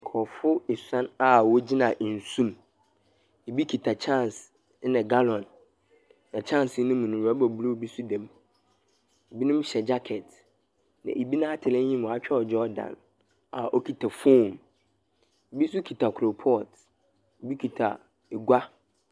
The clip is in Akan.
Nkorɔfo esuon a wogyina nsu mu. Bi kita kyɛnse, ɛna gallon. Na kyensee no mu no, rɔba blue bi nso da mu. Binom hyɛ jacket, na bi n'atar enyim wɔakyerɛw Jordan a okita phone. Bi nso kita koropɔɔt. Bi kita egua.